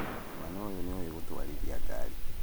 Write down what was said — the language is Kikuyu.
Mwana ũyũ nĩoi gũtwarithia ngari